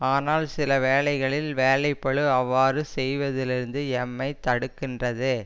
ஆனால் சில வேளைகளில் வேலைப்பழு அவ்வாறு செய்வதிலிருந்து எம்மை தடுக்கின்றது